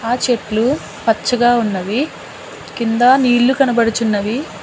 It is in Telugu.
ఆ చెట్లు పచ్చగా ఉన్నవి కింద నీళ్లు కనబడుచున్నవి.